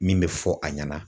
Min bɛ fɔ a ɲɛna.